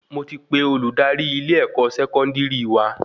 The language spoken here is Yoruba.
Mo ti pe Olùdarí ilé-ẹkọ Sẹkọndiri wa